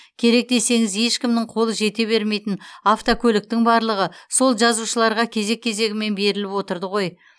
керек десеңіз ешкімнің қолы жете бермейтін автокөліктің барлығы сол жазушыларға кезек кезегімен беріліп отырды ғой